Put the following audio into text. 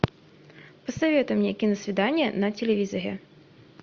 посоветуй мне киносвидание на телевизоре